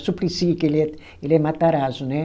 O Suplicy, que ele é, ele é matarazzo, né?